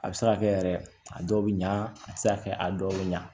A bɛ se ka kɛ yɛrɛ a dɔw bɛ ɲa a tɛ se ka kɛ a dɔw bɛ ɲa